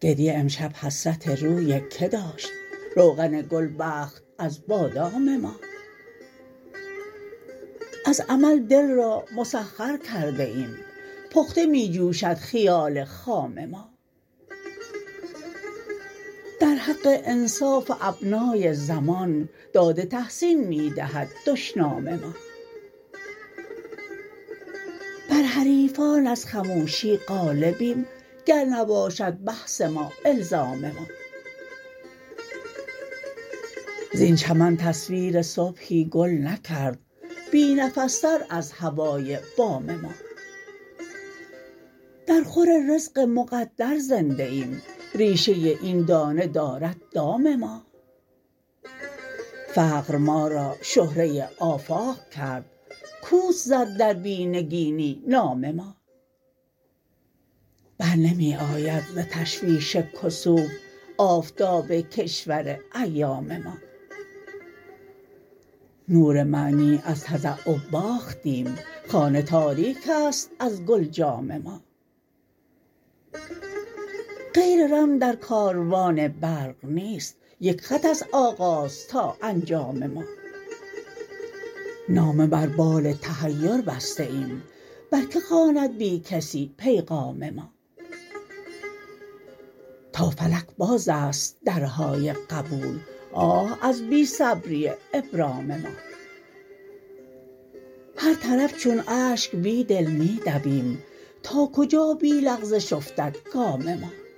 گربه امشب حسرت روی که داشت روغن گل بخت از بادام ما از امل دل را مسخرکرده ایم پخته می جوشد خیال خام ما در حق انصاف ابنای زمان داد تحسین می دهد دشنام ما بر حریفان از خموشی غالبیم گر نباشد بحث ما الزام ما زین چمن تصویرصبحی گل نکرد بی نفس تر از هوای بام ما درخور رزق مقدر زنده ایم ریشه این دانه دارد دام ما فقرما را شهرة آفاق کرد کوس زد در بی نگینی نام ما برنمی آید ز تشویش کسوف آفتاب کشور ایام ما نور معنی از تضع باختیم خانه تاریک است ازگلجام ما غیر رم درکاروان برق نیست یک خط است آغاز تا انجام ما نامه بر بال تحیر بسته ایم برکه خواند بیکسی پیغام ما تا فلک باز است درهای قبول آه از بی صبری ابرام ما هر طرف چون اشک بیدل می دویم تا کجا بی لغزش افتدگام ما